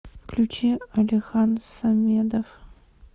включи алихан самедов